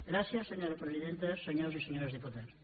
gràcies senyora presidenta senyores i senyors diputats